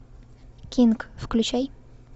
кинг включай